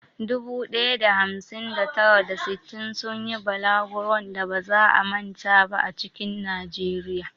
Dubu ɗaya da hamsin da tara, da sittin sun yi balaguron da ba za a manta ba a cikin Najeriya.